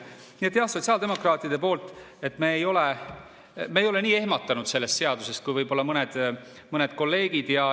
Nii et jah, sotsiaaldemokraatidena me ei ole nii ehmatanud sellest seadusest kui võib-olla mõned kolleegid.